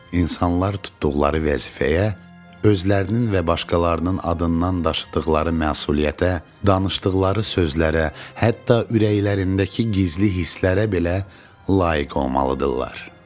İnsanlar tutduqları vəzifəyə, özlərinin və başqalarının adından daşıdıqları məsuliyyətə, danışdıqları sözlərə, hətta ürəklərindəki gizli hisslərə belə layiq olmalıdırlar.